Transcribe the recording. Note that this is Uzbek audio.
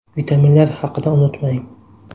Vitaminlar haqida unutmang.